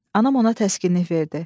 Anam ona təskinlik verdi.